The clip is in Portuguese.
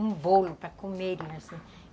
um bolo para comerem assim